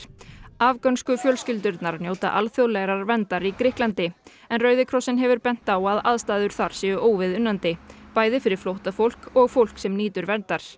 afgönsku fjölskyldurnar njóta alþjóðlegrar verndar í Grikklandi en Rauði krossinn hefur bent á að aðstæður þar séu óviðunandi bæði fyrir flóttafólk og fólk sem nýtur verndar